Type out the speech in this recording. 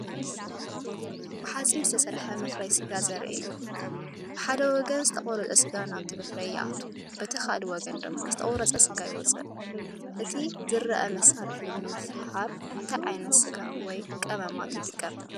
ብሓጺን ዝተሰርሐ መፍረዪ ስጋ ዘርኢ እዩ። ብሓደ ወገን ዝተቖርጸ ስጋ ናብቲ መፍረዪ ይኣቱ፡ በቲ ካልእ ወገን ድማ ዝተቖርጸ ስጋ ይወጽእ። እቲ ዝርአ መሳርሒ ንምፍሓር እንታይ ዓይነት ስጋ ወይ ቀመማት ይጥቀም?